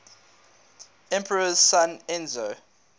emperor's son enzo